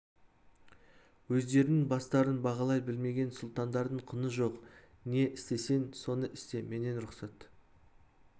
өздерінің бастарын бағалай білмеген сұлтандардың құны жоқ не істесең соны істе менен рұқсат